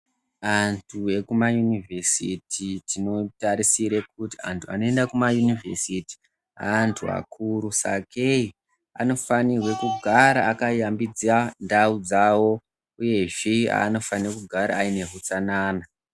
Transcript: Antu ekumayunivhesiti, tinotarisire kuti antu anoenda kumayunivhesiti ,aantu akuru, sakei anofanirwe kugara akayambidza ndau dzavo, uyezve anofana kugara aine utsanana.